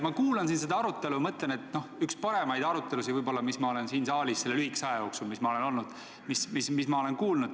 Ma kuulan siin seda arutelu ja mõtlen, et see on vahest üks parimaid arutelusid, mis ma olen siin saalis selle lühikese aja jooksul, mis ma olen Riigikogus olnud, kuulnud.